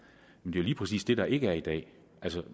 lige præcis det der ikke er i dag